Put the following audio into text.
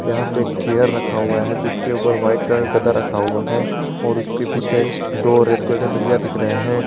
यहां पे एक चेयर रखा हुआ है जिसके ऊपर व्हाइट कलर का गद्दा रखा हुआ है और उसके पीछे दो रेड कलर का तकिया दिख रहे हैं।